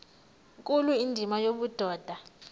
nkulu indima yobudoda